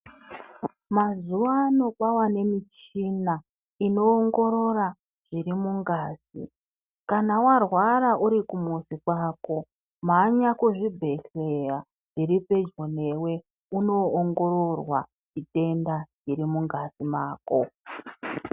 Mazuwano kwava nemichina, inowongorora zvirimungazi. Kana warwara urikumuzi kwako, mhanya kuzvibhedhleya zviripedyo newe uno ongororwa zvitenda zvirimungazi mako.